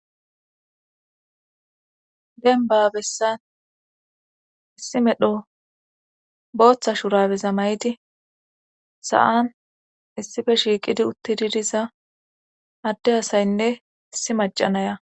denba bessan issi medho booththa shurabeza may7ti sa7an issife shiiqidi uttididiza adde asaynne issi macanaya